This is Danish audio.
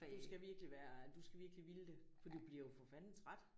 Du skal virkelig være du skal virkelig ville det for du bliver jo for fanden træt